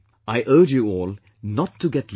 I urge you all not to get left behind